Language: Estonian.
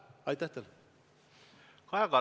Kaja Kallas, palun!